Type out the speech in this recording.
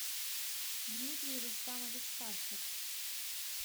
дмитрий рустамович пахер